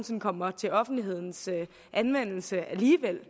sinde kommer til offentlighedens anvendelse alligevel